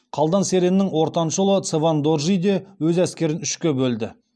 қалдан сереннің ортаншы ұлы цевен доржи де өз әскерін үшке бөлді